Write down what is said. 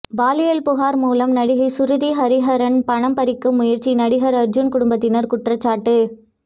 பாலியல் புகார் மூலம் நடிகை சுருதி ஹரிகரன் பணம் பறிக்க முயற்சி நடிகர் அர்ஜூன் குடும்பத்தினர் குற்றச்சாட்டு